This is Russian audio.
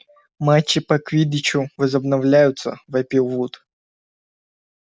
матчи по квиддичу возобновляются вопил вуд